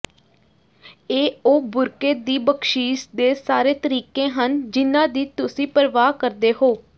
ਇਹ ਉਹ ਬੁਰਕੇ ਦੀ ਬਖ਼ਸ਼ੀਸ਼ ਦੇ ਸਾਰੇ ਤਰੀਕੇ ਹਨ ਜਿਨ੍ਹਾਂ ਦੀ ਤੁਸੀਂ ਪਰਵਾਹ ਕਰਦੇ ਹੋ